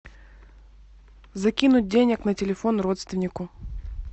закинуть денег на телефон родственнику